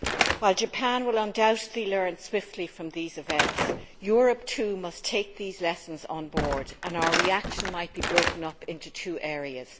While Japan will undoubtedly learn swiftly from these events, Europe too must take these lessons on board and our reaction might be broken up into two areas.